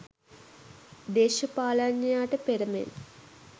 දේශපාලනඥයාට පෙර මෙන්